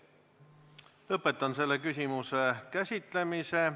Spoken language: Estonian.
Lõpetan selle küsimuse käsitlemise.